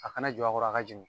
A kana jɔ a kɔrɔ a ka jiŋ